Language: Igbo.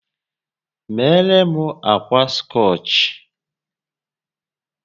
Meere m ákwà scọch!